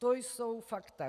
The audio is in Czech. To jsou fakta.